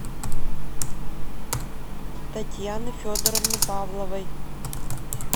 татьяны федоровны павловой